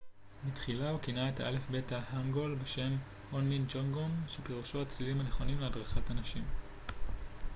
בתחילה הוא כינה את האלפבית ההנגול בשם הונמין ג'ונגום שפירושו הצלילים הנכונים להדרכת אנשים